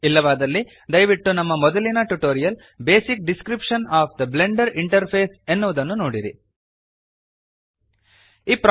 ಇಲ್ಲವಾದಲ್ಲಿ ದಯವಿಟ್ಟು ನಮ್ಮ ಮೊದಲಿನ tutorial basic description of the Blender interface basic description of the Blender interface ಎನ್ನುವುದನ್ನು ನೋಡಿರಿ